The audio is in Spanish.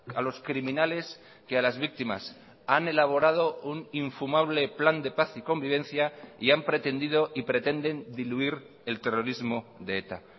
a los criminales que a las víctimas han elaborado un infumable plan de paz y convivencia y han pretendido y pretenden diluir el terrorismo de eta